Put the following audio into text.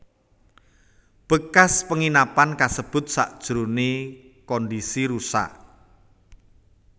Bekas penginapan kasebut sajrone kondisi rusak